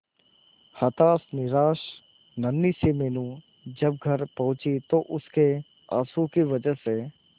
हताश निराश नन्ही सी मीनू जब घर पहुंची तो उसके आंसुओं की वजह से